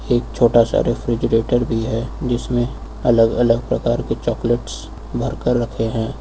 एक छोटा सा रेफ्रिजरेटर भी है जिसमें अलग अलग प्रकार के चॉकलेट्स भर कर रखे हैं।